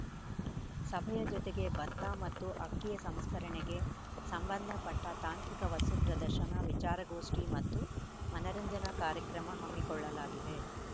ಸಭೆಯ ಜೊತೆಗೆ ಭತ್ತ ಮತ್ತು ಅಕ್ಕಿಯ ಸಂಸ್ಕರಣೆಗೆ ಸಂಬಂಧ ಪಟ್ಟ ತಾಂತ್ರಿಕ ವಸ್ತು ಪ್ರದರ್ಶನ ವಿಚಾರಗೋಷ್ಠಿ ಮತ್ತು ಮನರಂಜನಾ ಕಾರ್ಯಕ್ರಮ ಹಮ್ಮಿಕೊಳ್ಳಲಾಗಿದೆ